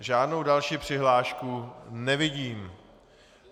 Žádnou další přihlášku nevidím.